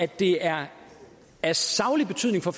det er af saglig betydning for